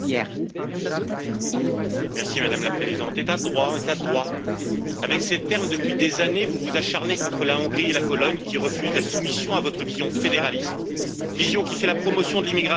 Madame la Présidente, état de droit, état de droit, avec ces termes depuis des années, vous vous acharnez contre la Hongrie et la Pologne qui refusent la soumission à votre vision fédéraliste, vision qui fait de la promotion de l'immigration un enjeu essentiel de l'Union européenne.